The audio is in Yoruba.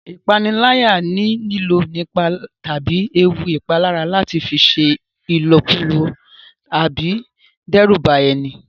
Ìpániláyà ni lílò ipá tàbí ewu ìpalára láti fi ṣe ìlọ̀kulọ̀ àbí dẹ́rùba ẹni